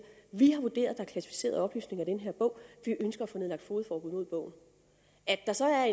vi har vurderet er klassificerede oplysninger i den her bog og vi ønsker at få nedlagt fogedforbud mod bogen at der så er